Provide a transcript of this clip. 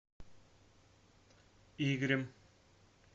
игорем